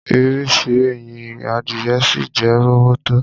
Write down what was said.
Ìrísí ẹyin adìyẹ ṣìì jẹ́ róbótó